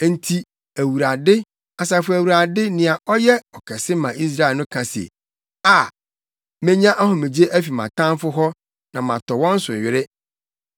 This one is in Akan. Enti, Awurade, Asafo Awurade, nea ɔyɛ Ɔkɛse ma Israel no ka se, “Aa, menya ahomegye afi mʼatamfo hɔ na matɔ wɔn so were.